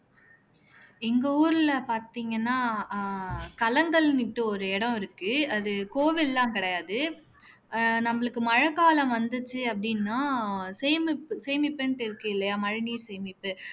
எங்க ஊர்ல பார்த்தீங்கன்னா அஹ் கலங்கள்ன்னுட்டு ஓர் இடம் இருக்கு அது கோவில்லாம் கிடையாது ஆஹ் நம்மளுக்கு மழைக்காலம் வந்துச்சு அப்படின்னா சேமிப்புன்னு இருக்கு இல்லையா மழைநீர் சேமிப்பு